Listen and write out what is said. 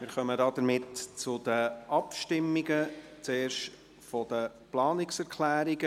Somit kommen wir zu den Abstimmungen, zuerst zu den Planungserklärungen.